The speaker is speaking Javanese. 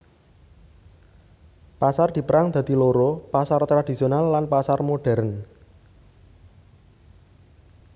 Pasar dipérang dadi loro pasar tradhisional lan pasar modhèrn